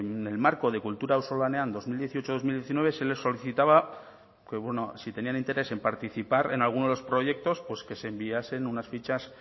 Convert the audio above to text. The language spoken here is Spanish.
en el marco de kultura auzolanean dos mil dieciocho dos mil diecinueve se les solicitaba que si tenían interés en participar en alguno de los proyectos pues que se enviasen unas fichas